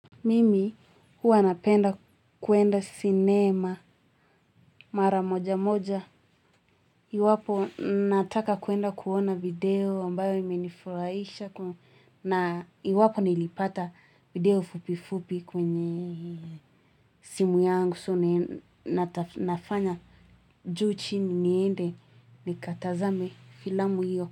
Mimi huwanapenda kuenda sinema mara moja moja. Iwapo nataka kuenda kuona video ambayo ime nifurahisha. Iwapo nilipata video fupi fupi kwenye simu yangu. So na nafanya juu chini niende ni katazame filamu hiyo.